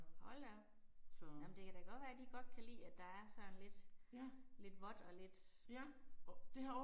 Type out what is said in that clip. Hold da op. Jamen det kan da godt være de godt kan lide at der er sådan lidt, lidt vådt og lidt fugt